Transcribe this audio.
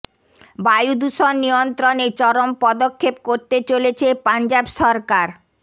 বায়ু দূষণ নিয়ন্ত্রণে চরম পদক্ষেপ করতে চলেছে পাঞ্জাব সরকার